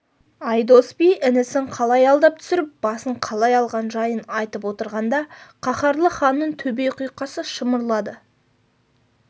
айдос би інісін қалай алдап түсіріп басын қалай алған жайын айтып отырғанда қаһарлы ханның төбе құйқасы шымырлады